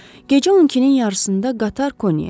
Gecə 12-nin yarısında qatar Konyaya çatdı.